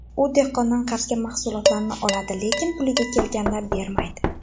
U dehqondan qarzga mahsulotlarni oladi, lekin puliga kelganda bermaydi.